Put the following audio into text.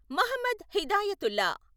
Mohammed Hidayatullah